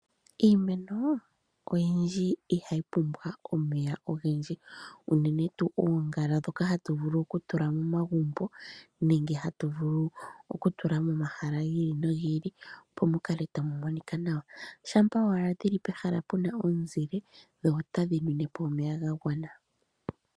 Iimeno oyindji ihayi pumbwa omeya ogendji unene tuu oongala ndjoka hatu vulu okutula momagumbo nenge tatu vulu okutula momahala gi ili nogi ili opo mu kale tamu monika nawa. Shampa owala dhi li pehala pu na omuzile dho otadhi nwine po omeya ga gwana.